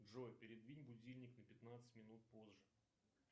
джой передвинь будильник на пятнадцать минут позже